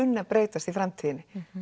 breytist í framtíðinni